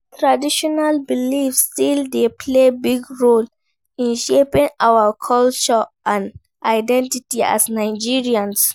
Traditional beliefs still dey play big role in shaping our culture and identity as Nigerians.